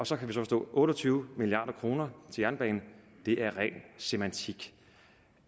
så kan vi forstå at otte og tyve milliard kroner jernbanen er ren semantik